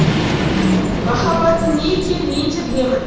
махаббаттың не екенін мен де білемін